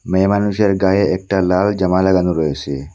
মেয়ে মানুষের গায়ে একটা লাল জামা লাগানো রয়েছে।